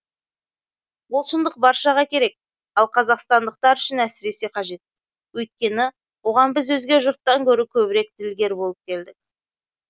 бұл шындық баршаға керек ал қазақстандықтар үшін әсіресе қажет өйткені оған біз өзге жұрттан гөрі көбірек ділгер болып келдік